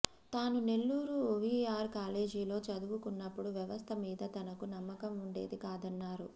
తాను నెల్లూరు వీఆర్ కాలేజీలో చదువుకున్నప్పుడు వ్యవస్థ మీద తనకు నమ్మకం ఉండేది కాదన్నారు